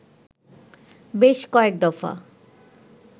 বেশ কয়েক দফা